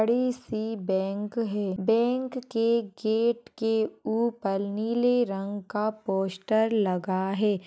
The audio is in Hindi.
बड़ी सी बैंक है। बैंक के गेट के ऊपर नीले रंग का पोस्टर लगा है।